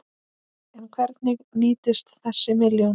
En hvernig nýtist þessi milljón?